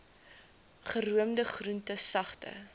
geroomde groente sagte